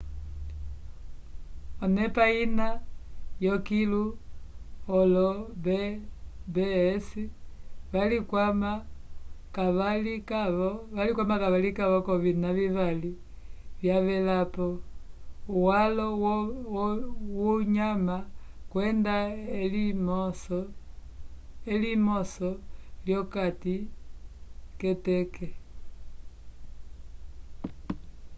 k'onepa ina yokilu olo b&bs valikwama kavalikavo k'ovina vivali vyavealpo uwalo wohama kwenda elimoso lyokati k'eteke